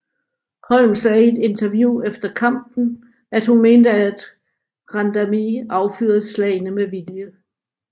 Holm sagde i et interview efter kampen and at hun mente at Randamie affyrede slagene med vilje